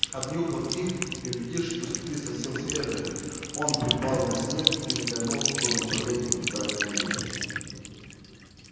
обнюхав их и убедившись что следы совсем свежие он припал на снег и взглянул в том направлении куда они вели